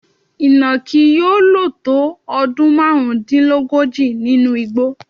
Ìnàkí yóò lò tó ọdún márùndínlógójì nínú igbó.